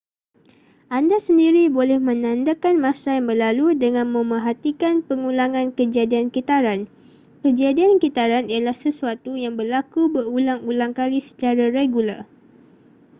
anda sendiri boleh menandakan masa yang berlalu dengan memerhatikan pengulangan kejadian kitaran kejadian kitaran ialah sesuatu yang berlaku berulang-ulang kali secara regular